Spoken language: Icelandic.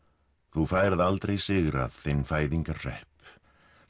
þú færð aldrei sigrað þinn